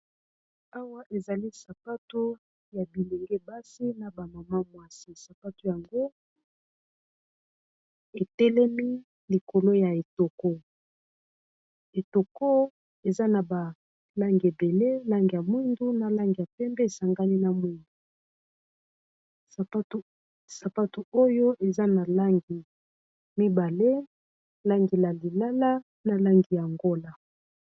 awa ezali sapato ya bilenge basi na bamama mwasi sapato yango etelemi likolo ya etoko etoko eza na balangi ebele langi ya mwindu na langi ya pembe esangani na mwingu sapato oyo eza na langi mibale langi la lilala na langi yangola